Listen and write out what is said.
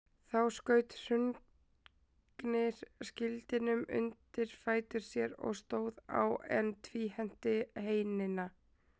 Þá skaut Hrungnir skildinum undir fætur sér og stóð á, en tvíhenti heinina.